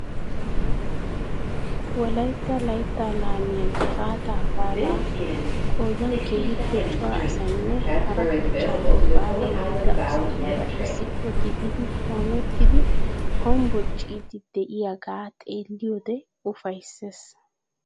Wolaytta layttaa laamiya gifaataa baalaa qoodan keehippe cora asaynne hara kochchaape baalawu yiida asatuura issippe gidid qoomettidi hombbocciid de'iyoogaa xeelliyode ufaysees.